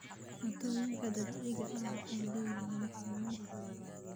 Cuntooyinka dabiiciga ahi waxay leeyihiin macaamiil badan.